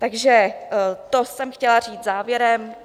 Takže to jsem chtěla říct závěrem.